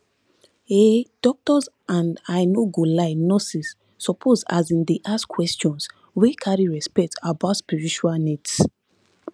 ehh doctors and i no go lie nurses suppose asin dey ask questions wey carry respect about spiritual needs